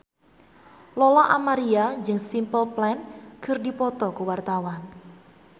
Lola Amaria jeung Simple Plan keur dipoto ku wartawan